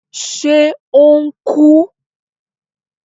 Ṣe o n ku?